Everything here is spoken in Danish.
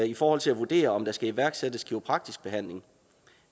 i forhold til at vurdere om der skal iværksættes kiropraktisk behandling